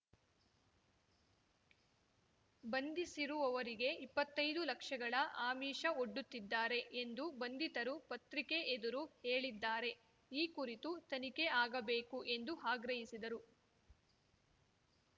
ಬಂಧಿಸಿರುವವರಿಗೆ ಇಪ್ಪತ್ತೈದು ಲಕ್ಷಗಳ ಆಮಿಷ ಒಡ್ಡುತ್ತಿದ್ದಾರೆ ಎಂದು ಬಂಧಿತರು ಪತ್ರಿಕೆ ಎದುರು ಹೇಳಿದ್ದಾರೆ ಈ ಕುರಿತು ತನಿಖೆ ಆಗಬೇಕು ಎಂದು ಆಗ್ರಹಿಸಿದರು